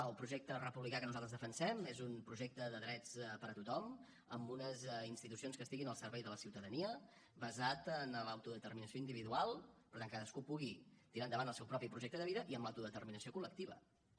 el projecte republicà que nosaltres defensem és un projecte de drets per a tothom amb unes institucions que estiguin al servei de la ciutadania basat en l’autodeterminació individual per tant que cadascú pugui tirar endavant el seu propi projecte de vida i amb l’autodeterminació col·lectiva també